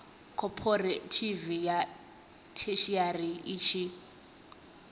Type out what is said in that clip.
khophorethivi ya theshiari i tshi